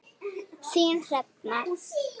Þín Hrefna.